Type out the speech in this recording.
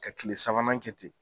Ka kile sabanan kɛ ten